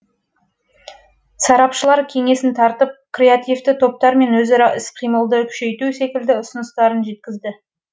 сарапшылар кеңесін тартып креативті топтармен өзара іс қимылды күшейту секілді ұсыныстарын жеткізді